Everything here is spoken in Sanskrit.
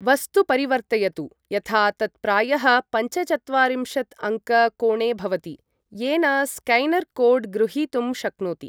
वस्तु परिवर्तयतु यथा तत् प्रायः पञ्चचत्वारिंशत्अङ्क कोणे भवति, येन स्कैनर् कोड् गृहीतुं शक्नोति।